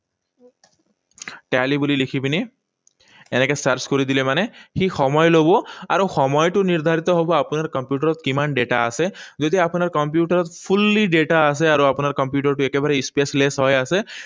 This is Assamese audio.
Tally বুলি লিখি পিনি, এনেকৈ search কৰি দিলে মানে, সি সময় লব। আৰু সময়টো নিৰ্ধাৰিত হব আপোনাৰ কম্পিউটাৰত কিমান data আছে। যদি আপোনাৰ কম্পিউটাৰত fully data আছে, আৰু আপোনাৰ কম্পিউটাৰটো একেবাৰে spaceless হৈ আছে,